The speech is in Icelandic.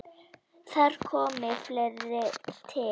Þar komi fleira til.